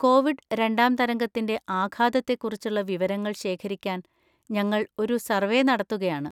Covid രണ്ടാം തരംഗത്തിന്‍റെ ആഘാതത്തെക്കുറിച്ചുള്ള വിവരങ്ങൾ ശേഖരിക്കാൻ ഞങ്ങൾ ഒരു സർവേ നടത്തുകയാണ്.